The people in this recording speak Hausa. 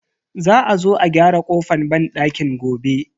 Za a zo a gyara kofan banɗakin gobe.